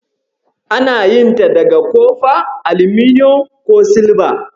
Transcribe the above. Ana yin ta daga kofa, aluminiyon ko silba.